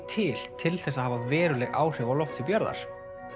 til til þess að hafa veruleg áhrif á lofthjúp jarðar